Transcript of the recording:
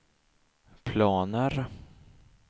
planer